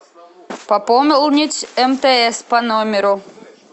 пополнить мтс по номеру